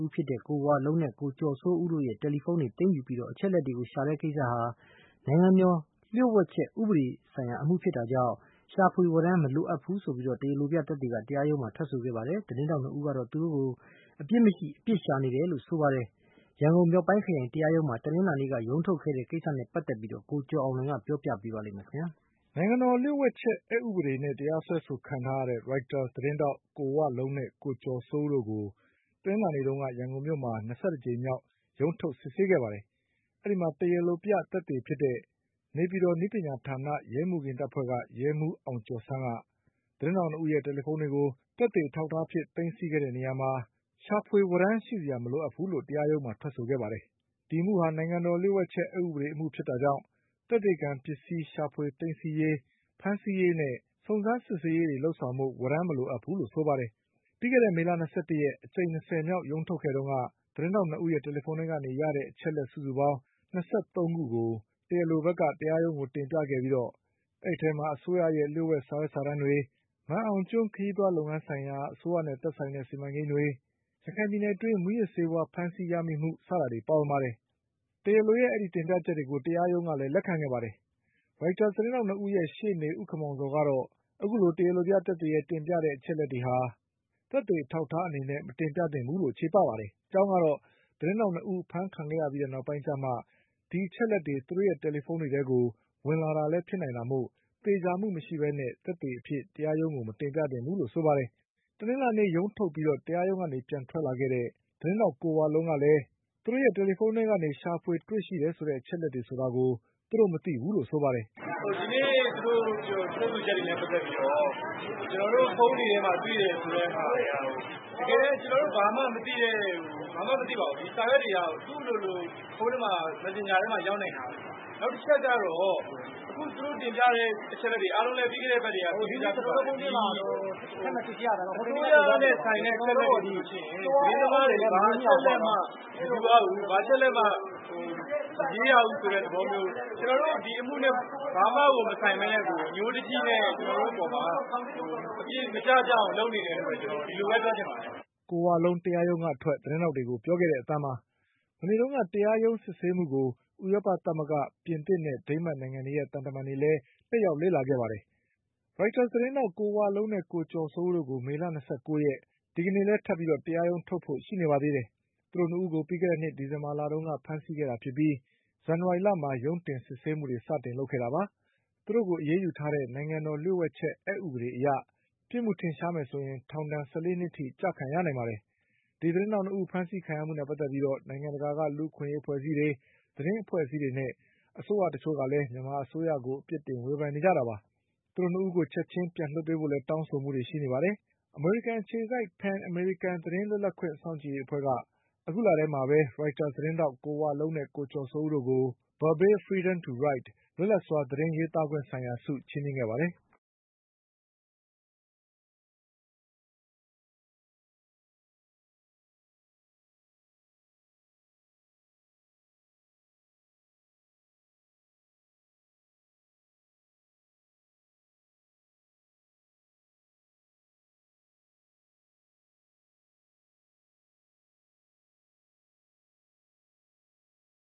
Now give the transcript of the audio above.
ဦးဖြစ်ကြတဲ့ ကိုဝလုံးနဲ့ ကိုကျော်စိုးဦးတို့ရဲ့တယ်လီဖုန်းတွေကိုသိမ်းယူပြီး အချက် အလက်တွေကိုရှာတဲ့ကိစ္စဟာ နိုင်ငံတော်လျှို့ဝှက်ချက်အက်ဥပဒေဆိုင်ရာ အမှုဖြစ်တာကြောင့် ရှာဖွေဝရမ်း မလိုအပ်ဘူး လို့ တရားလိုပြသက်သေက တရားရုံးမှာထွက်ဆိုခဲ့ပါတယ်။ သတင်းထောက်၂ဦးကတော့ သူတို့ကို အပြစ်မရှိ အပြစ်ရှာ နေတယ်လို့ဆိုပါတယ်။ ရန်ကုန်မြောက်ပိုင်းခရိုင်တရားရုံးမှာ တနင်္လာနေ့က ရုံးထုတ်ခဲ့တဲ့ကိစ္စနဲ့ပတ်သက်ပြီး ကိုကျော် အောင်လွင်က ပြောပြပါလိမ့်မယ်။ နိုင်ငံတော်လျှို့ဝှက်ချက်အက်ဥပဒေနဲ့တရားစွဲဆိုခံထားရတဲ့ Reuters သတင်းထောက် ကိုဝလုံးနဲ့ ကိုကျော်စိုးဦးတို့ကို တနင်္လာနေ့တုံးက ရန်ကုန်မြောက်ပိုင်းခရိုင်တရားရုံးမှာ ၂၁ကြိမ်မြောက်ရုံးထုတ်စစ်ဆေးခဲ့ပါတယ်။ အဲဒီမှာ တရားလိုပြသက်သေဖြစ်တဲ့ နေပြည် တော် နည်းပညာဌာန ရဲမှုခင်းတပ်ဖွဲ့က ရဲမှုးအောင်ကျော်ဆန်းက သတင်းထောက်၂ ဦးရဲ့တယ်လီဖုန်းတွေကို သက်သေ အဖြစ်သိမ်းဆည်းခဲ့တဲ့ကိစ္စမှာ ရှာဖွေဝရမ်းရှိဖို့မလိုအပ်ဘူးလို့တရားရုံးမှာထွက်ဆိုခဲ့ပါတယ်။ ဒီအမှုဟာ နိုင်ငံတော်လျှို့ ဝှက်ချက်အက်ဥပဒေအမှုဖြစ်တာကြောင့် သက်သေခံပစ္စည်းရှာဖွေသိမ်းဆည်းရေး၊ ဖမ်းဆီးရေးနဲ့ စုံစမ်းစစ်ဆေးရေးတွေ လုပ်ဆောင်ဖို့ ဝရမ်းမလိုအပ်ဘူးလို့ဆိုပါတယ်။ ပြီးခဲ့တဲ့မေလ၂၁ရက်အကြိမ်၂၀မြောက်ရုံးထုတ်ခဲ့တုန်းက သတင်းထောက် ၂ဦးရဲ့တယ်လီဖုန်းထဲကနေရတဲ့ အချက်အလက်စုစုပေါင်း ၂၃ခုကို တရားလိုဘက်က တရားရုံးကိုတင်ပြခဲ့ပြီးအဲဒီအထဲမှာ အစိုးရရဲ့လျှို့ဝှက်စာရွက်စာတမ်းတွေ၊ မာန်အောင်ကျွန်းခရီးသွားလုပ်ငန်းဆိုင်ရာ အစိုးရနဲ့သက်ဆိုင်တဲ့စီမန်ကိန်းတွေ၊ ရခိုင်ပြည်နယ်အတွင်း မူးယစ်ဆေးဝါးဖမ်းဆီးရမိမှု စတာတွေပါဝင်ပါတယ်။ တရားရုံးကလည်း အဲဒီတင်ပြချက်တွေကို လက်ခံခဲ့ပါတယ်။ Reuters သတင်းထောက်၂ဦးရဲ့ရှေ့နေ ဦးခင်မောင်ဇော်ကတော့ အခုလိုတရားလိုပြသက်သေရဲ့ တင်ပြတဲ့ အချက်အလက်တွေဟာ သက်သေအထောက်အထား အနေနဲ့ မတင်ပြသင့်ဘူးလို့ ချေပပါတယ်။ အကြောင်း ကတော့ သတင်းထောက်၂ဦးအဖမ်းခံခဲ့ရပြီးနောက်ပိုင်းကျမှ ဒီ အချက်အလက်တွေ သူတို့ရဲ့တယ်လီဖုန်းထဲကို ဝင်လာ တာလည်းဖြစ်နိုင်တာမို့ သေချာမှုမရှိပဲ သက်သေအဖြစ်တရားရုံး ကိုမတင်ပြသင့်ဘူးလို့ဆိုပါတယ်။ တနင်္လာနေ့ရုံးထုတ်ပြီးတရားရုံးကနေပြန်ထွက်လာတဲ့ သတင်းထောက်ကိုဝလုံးက လည်း သူတို့ရဲ့တယ်လီဖုန်းထဲကနေ ရှာဖွေတွေ့ရှိတယ်ဆိုတဲ့အချက်အလက်တွေဆိုတာကို သူတို့မသိဘူးလို့ဆိုပါတယ်။ "ဒီနေ့သူတို့ထွက်ဆိုချက်တွေနဲ့ပတ်သက်ပြီးတော့ ကျနော်တို့ဖုန်းတွေထဲမှာ တွေ့တယ်ဆိုတဲ့ဟာတွေက တကယ်တမ်း ကျနော်တို့ ဘာမှမသိပါဘူး။ ဒီစာရွက်တွေက သူ့အလိုလို ဖုန်းထဲမှာ Messenger ထဲမှာရောက်နိုင်တာပဲလေ။ နောက်တချက်ကတော့ အခုသူတို့တင်ပြတဲ့အချက်အလက်တွေ အားလုံးလည်း ပြီးခဲ့တဲ့အပတ်က သိပြီးသားဖြစ်ပါတယ်။ အစိုးရနဲ့ဆိုင်တဲ့အချက်အလက်တွေဆိုရင် သတင်းသမားတွေ ဘာအချက်အလက်မှ မယူရဘူး။ ဘာအချက်အလက်မှ မရေးရဘူးဆိုတဲ့ သဘောမျိုး။ ကျနော်တို့ ဒီအမှုနဲ့ဘာမှကို မဆိုင်ပဲနဲ့ အညှိုးတကြီးနဲ့ ကျနော်တို့အပေါ်မှာ အပြစ်မကျ ကျအောင်လုပ်နေတယ်လို့ပဲပြောချင်ပါတယ်။" တနင်္လာနေ့က တရားရုံးကစစ်ဆေးမှုကို ဥရောပသမဂ္ဂ၊ ပြင်သစ်နဲ့ဒိန်းမတ်နိုင်ငံတွေရဲ့ သံတမန်တွေလည်း တက်ရောက် လေ့လာခဲ့ကြပါတယ်။ Reuters သတင်းထောက် ကိုဝလုံးနဲ့ကိုကျော်စိုးဦးတို့ကို မေလ၂၉ရက် ဒီကနေ့ လည်းထပ်ပြီး တရားရုံးထုတ်ဖို့ရှိပါသေးတယ်။ သူတို့၂ဦးကို ပြီးခဲ့တဲ့နှစ်ဒီဇင်ဘာလတုန်းက ဖမ်းဆီးခဲ့တာဖြစ်ပြီး ဇန်န ဝါရီလမှာ ရုံးတင် စစ်ဆေးမှုတွေစလုပ်ခဲ့တာပါ။ သူတို့ကိုအရေးယူထားတဲ့ နိုင်ငံတော်လျှို့ဝှက်ချက်အက်ဥပဒေအရ ပြစ်မှု ထင်ရှားရင် ထောင်ဒဏ်၁၄နှစ်အထိ ကျခံရနိုင်ပါတယ်။ ဒီသတင်းထောက်၂ဦးဖမ်းဆီးခံရမှုနဲ့ပတ်သက်ပြီး နိုင်ငံတကာ လူ့အခွင့် အရေးအဖွဲ့တွေ၊ သတင်းအဖွဲ့အစည်းတွေနဲ့ အစိုးရတချို့က မြန်မာအစိုးရကို အပြစ်တင်ဝေဖန်နေကြတာပါ။ သူတို့ ၂ဦးကိုချက်ချင်းပြန်လွှတ်ပေးဖို့လည်းတောင်းဆိုနေကြပါတယ်။ အမေရိကန်အခြေစိုက် Pen American သတင်း လွတ်လပ်ခွင့်စောင့်ကြည့်ရေးအဖွဲ့က အခုလထဲမှာပဲ Reuters သတင်းထောက် ကိုဝလုံးနဲ့ကိုကျော်စိုးဦးတို့ကို Barbey Freedom to Write လွတ်လပ်စွာသတင်းရေးသားခွင့်ဆိုင်ရာ ဆုချီးမြင့်ခဲ့ပါတယ်။